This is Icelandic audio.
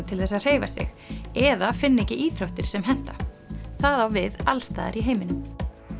til þess að hreyfa sig eða finna ekki íþróttir sem henta það á við alls staðar í heiminum